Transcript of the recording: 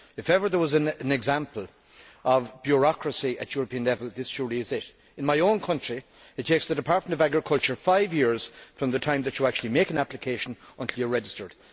If ever there was an example of bureaucracy at European level, this surely is it. In my country, it takes the Department of Agriculture five years from the time that you actually make an application until you are registered.